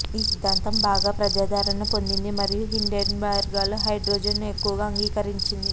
ఈ సిద్ధాంతం బాగా ప్రజాదరణ పొందింది మరియు హిండెన్బర్గ్లో హైడ్రోజన్ను ఎక్కువగా అంగీకరించింది